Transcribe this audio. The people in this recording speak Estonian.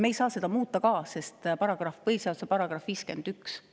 Me ei saa seda muuta, sest enne tuleb ära muuta põhiseaduse § 51.